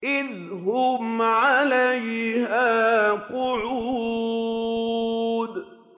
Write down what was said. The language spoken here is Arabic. إِذْ هُمْ عَلَيْهَا قُعُودٌ